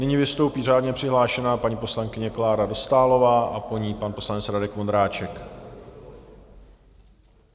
Nyní vystoupí řádně přihlášená paní poslankyně Klára Dostálová a po ní pan poslanec Radek Vondráček.